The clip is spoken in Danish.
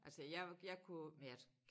Altså jeg jeg kunne men jeg